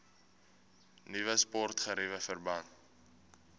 nuwe sportgeriewe verband